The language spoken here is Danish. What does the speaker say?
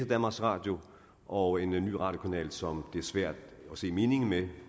danmarks radio og en ny radiokanal som det er svært at se meningen med